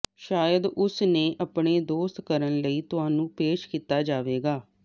ਸ਼ਾਇਦ ਉਸ ਨੇ ਆਪਣੇ ਦੋਸਤ ਕਰਨ ਲਈ ਤੁਹਾਨੂੰ ਪੇਸ਼ ਕੀਤਾ ਜਾਵੇਗਾ